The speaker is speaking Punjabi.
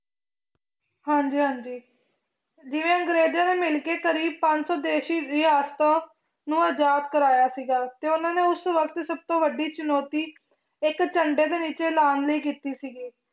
ਹਾਂਜੀ ਹਾਂਜੀ ਜਿਵੇਂ ਅੰਗਰੇਜ਼ਾਂ ਨਾਲ ਮਿਲ ਕੇ ਕਰੀਬ ਪੰਜ ਸੌ ਰਿਆਸਤਾਂ ਨੂੰ ਆਜ਼ਾਦ ਕਰਵਾਇਆ ਸੀਗਾ ਤੇ ਉਹਨਾਂ ਨੇ ਉਸ ਵਕਤ ਸਭ ਤੋਂ ਵੱਡੀ ਚੁਣੌਤੀ ਇੱਕ ਝੰਡੇ ਦੇ ਵਿੱਚ ਲਾਉਣ ਲਈ ਕੀਤੀ ਸੀਗੀ